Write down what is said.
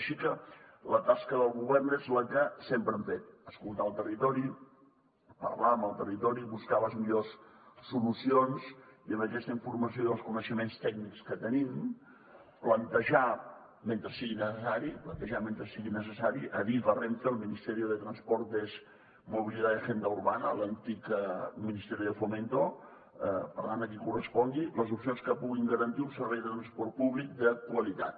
així que la tasca del govern és la que sempre hem fet escoltar el territori parlar amb el territori buscar les millors solucions i amb aquesta informació i els coneixements tècnics que tenim plantejar mentre sigui necessari plantejar mentre sigui necessari a adif a renfe al ministerio de transportes movilidad y agenda urbana l’antic ministerio de fomento per tant a qui correspongui les opcions que puguin garantir un servei de transport públic de qualitat